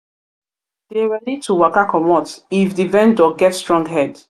dey ready to waka comot if di vendor get strong head